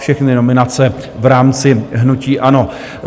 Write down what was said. Všechny nominace v rámci hnutí ANO.